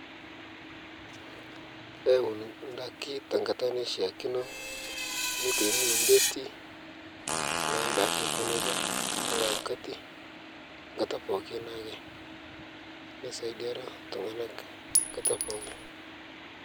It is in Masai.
Auni ndaki tenkata naishakino, neitaini ondeti naadake ako neja, kila wakati nkata pooki naake, neisaidiaro ltung'anak nkata pooki.